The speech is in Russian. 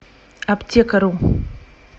аптекару